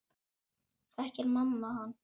Þekkir mamma hann?